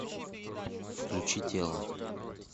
включи тело